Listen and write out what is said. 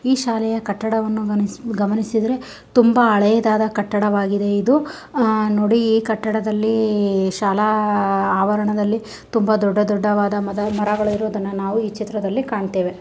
ಈ ಶಾಲೆಯ ಕಟ್ಟಡವನ್ನು ಗಮನಿಸಿದ್ರೆ ತುಂಬಾ ಹಳೆಯದಾದ ಕಟ್ಟಡವಾಗಿದೆ. ಇದು ಆ-ನೋಡಿ ಈ ಕಟ್ಟಡದಲ್ಲಿ ಶಾಲಾ ಆವರಣದಲ್ಲಿ ತುಂಬಾ ದೊಡ್ಡ ದೊಡ್ಡದಾದ ಮರಗಳಿರೋದನ್ನ ನಾವು ಈ ಚಿತ್ರದಲ್ಲಿ ಕಾಣುತ್ತೇವೆ.